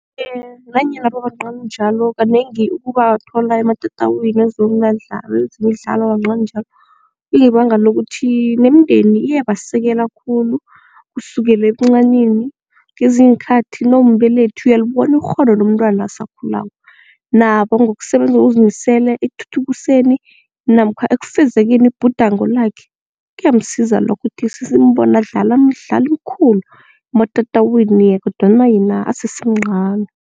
Nanyana babancani njalo kanengi ukubathola ematatawini wezimdalo babancani njalo kungebanga lokuthi nemindeni iyabasekela khulu kusukela ebuncanini kezinye iinkhathi nawumbelethi uyalibona ikghono lomntwana asakhulako. Nabo ngokusebenza ngokuzimisele ekuthuthukiseni namkha ekufuzekeni ibhudango lakhe kuyamsiza lokho ukuthi sesimbone adlala imidlalo emikhulu ematatawini kodwana yena asesemncani.